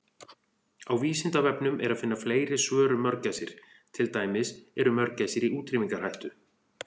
Á Vísindavefnum er að finna fleiri svör um mörgæsir, til dæmis: Eru mörgæsir í útrýmingarhættu?